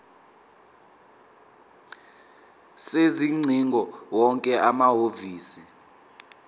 sezingcingo wonke amahhovisi